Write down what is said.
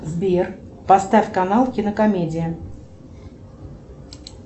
сбер поставь канал кинокомедия